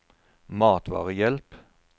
matvarehjelp